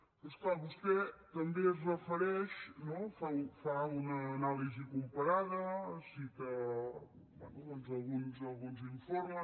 però és clar vostè també es refereix no fa una anàlisi comparada cita bé alguns informes